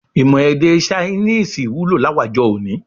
Imọ èdè Ṣainíìsì wulo láwàjọ òní